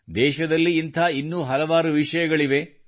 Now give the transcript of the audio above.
ದೇಶದಲ್ಲಿ ಇಂಥ ಇನ್ನೂ ಹಲವಾರು ವಿಷಯಗಳಿವೆ